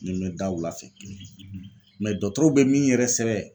Ni n bɛ da wulafɛ dɔtɔrɔw bɛ min yɛrɛ sɛbɛ